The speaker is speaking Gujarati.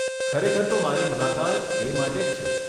ખરેખર તો મારી મુલાકાત એ માટે જ છે.